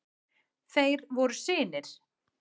Þeir voru synir